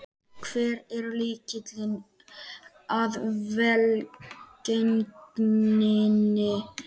Hver er lykilinn að velgengninni?